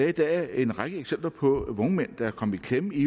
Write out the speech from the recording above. i dag en række eksempler på vognmænd der er kommet i klemme i